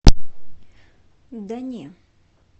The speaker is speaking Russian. да не